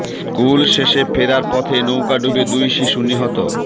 school শেষে ফেরার পথে নৌকা ডুবে দুই শিশু নিহত